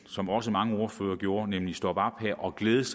som også mange ordførere gjorde nemlig stoppe op her og glæde